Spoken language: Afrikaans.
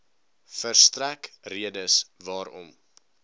verstrek redes waarom